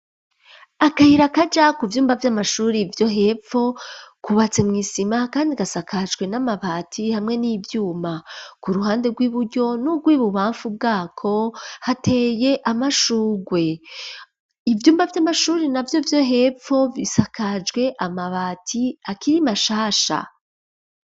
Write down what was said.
Akayira, kaja ku vyumba, vy'amashuri, vyo hepfo; kubatse mw'isima, kandi gasakajwe n'amabati, hamwe n'ivyuma; ku ruhande rw'iburyo, n'urw'ibubamfu bwako, hateye amashurwe; ivyumba vy'amashuri navyo, vyo hepfo, bisakajwe amabati, akiri mashasha.